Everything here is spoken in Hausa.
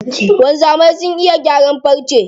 Wanzamai sun iya gyaran farce.